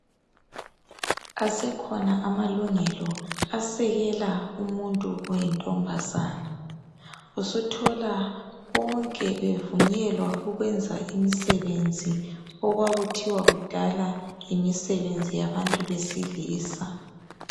Esekhona amalungelo asekela umuntu oyintombazana. Usuthola bonke bevunyela ukwenza imisebenzi okwakuthiwa kudala yimisebenzi yabantu besilisa.